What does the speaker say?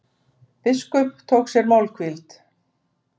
Biskup tók sér málhvíld.